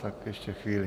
Tak ještě chvíli.